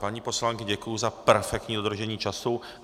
Paní poslankyně, děkuji za perfektní dodržení času.